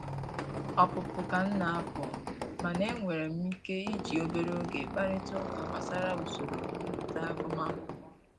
Ọpụpụ ka m na-apụ, mana e nwere m ike iji obere oge kparịtaa ụka gbasara usoro inweta agụmakwụkwọ